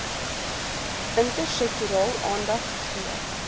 intersektoraal aandag gegee